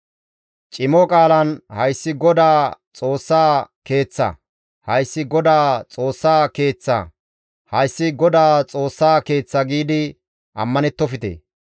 Cimo qaalan, ‹Hayssi GODAA Xoossa Keeththa! Hayssi GODAA Xoossa Keeththa! Hayssi GODAA Xoossa Keeththa!› giidi ammanettofte.